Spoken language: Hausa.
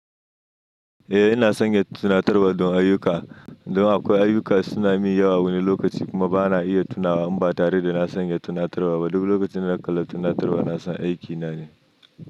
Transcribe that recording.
Eh ina san ya tuna tarwa don ayuka. Don akwai ayuka suna min yawa wani lokaci kuma bana iya tunawa in ba tare da na sanya tuna tarba ba. Dubu lokacin da na kalla tuna tarwa na san aiki na ne.